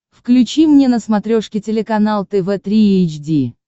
включи мне на смотрешке телеканал тв три эйч ди